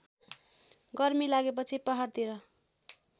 गर्मी लागेपछि पहाडतिर